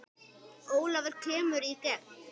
Ólafur kemur í gegn.